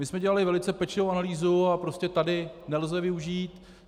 My jsme dělali velice pečlivou analýzu a prostě tady nelze využít.